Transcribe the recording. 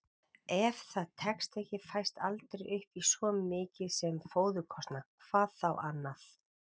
Ef það tekst ekki fæst aldrei upp í svo mikið sem fóðurkostnað, hvað þá annað.